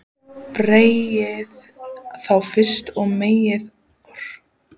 Berjið þá fyrst og meiðið, hrópaði Kort.